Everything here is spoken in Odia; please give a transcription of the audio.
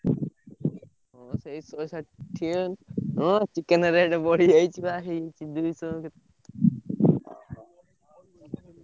ହଁ ସେଇ ଶହେଷାଠିଏ ସେ chicken rate ବା ବଢି ଯାଇଛି ହେଇଛି ବା ଦୁଇଶହ ।